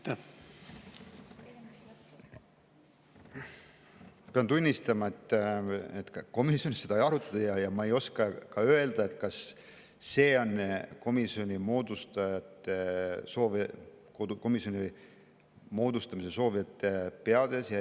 Ma pean tunnistama, et komisjonis seda ei arutatud, ja ma ei oska ka öelda, kas see on see eesmärk komisjoni moodustamist soovijate peades.